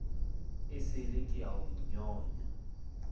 esele ke a o nyonya